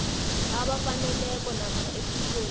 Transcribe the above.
abafaneleko namkha ephikweni